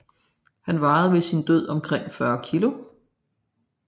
Han vejede ved sin død omkring 40 kg